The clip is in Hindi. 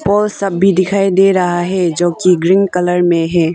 वो सब भी दिखाई दे रहा है जो कि ग्रीन कलर में है।